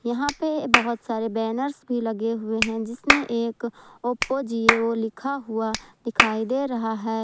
यहां पे बहोत सारे बैनर्स भी लगे हुए हैं जिसमें एक ओप्पो जिओ लिखा हुआ दिखाई दे रहा है।